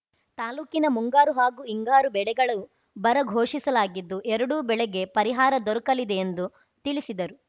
ತಾಲೂಕಿನ ಮುಂಗಾರು ಹಾಗೂ ಹಿಂಗಾರು ಬೆಳೆಗಳು ಬರ ಘೋಶಿಸಲಾಗಿದ್ದು ಎರಡೂ ಬೆಳೆಗಳಿಗೆ ಪರಿಹಾರ ದೊರಕಲಿದೆ ಎಂದು ತಿಳಿಸಿದರು